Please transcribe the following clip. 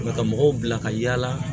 Ka mɔgɔw bila ka yala